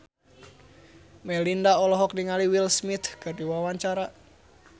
Melinda olohok ningali Will Smith keur diwawancara